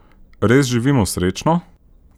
Res živimo srečno?